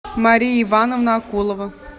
мария ивановна акулова